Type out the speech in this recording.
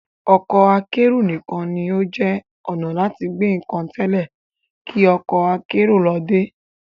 Ọkọ akẹ́rù nìkan ní ó jẹ́ ọnà láti gbé nǹkan tẹ́lẹ̀ kí ọkọ akérò ló dé